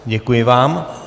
Děkuji vám.